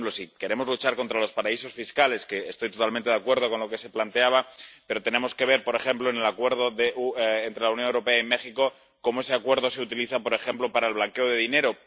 Por ejemplo, si queremos luchar contra los paraísos fiscales —que estoy totalmente de acuerdo con lo que se planteaba—, tenemos que ver, por ejemplo en el Acuerdo entre la Unión Europea y México, cómo se utiliza ese Acuerdo, por ejemplo, para el blanqueo de dinero.